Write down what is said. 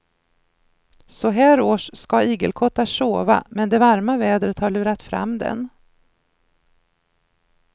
Så här års ska igelkottar sova men det varma vädret har lurat fram den.